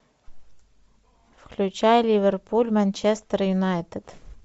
включай ливерпуль манчестер юнайтед